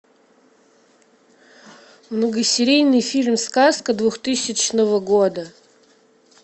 многосерийный фильм сказка двухтысячного года